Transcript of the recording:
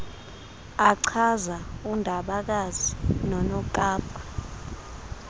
achaza undabakazi nonokapa